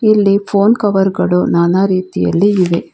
ಇಲ್ಲಿ phone cover ಗಳು ನಾನಾ ರೀತಿಯಲ್ಲಿ ಇವೆ.